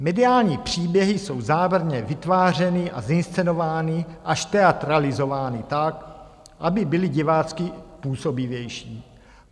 Mediální příběhy jsou záměrně vytvářeny a zinscenovány až teatralizovány tak, aby byly divácky působivější.